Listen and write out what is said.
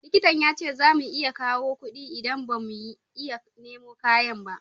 Likitan ya ce za mu iya kawo kudi idan ba mu iya nemo kayan ba